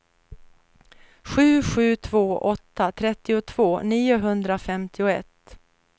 sju sju två åtta trettiotvå niohundrafemtioett